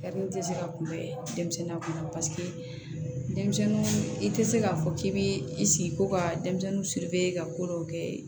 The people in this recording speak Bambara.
tɛ se ka kunbɛn denmisɛnnin kunna denmisɛnninw i tɛ se k'a fɔ k'i bɛ i sigi ko ka denmisɛnnin ka ko dɔw kɛ